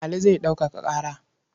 Ali zai ɗaukaka ƙara.